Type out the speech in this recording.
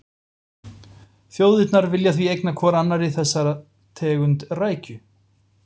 Þjóðirnar vilja því eigna hvorri annarri þessa tegund rækju.